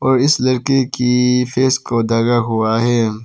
और इस लड़के के फेस को ढका हुआ है।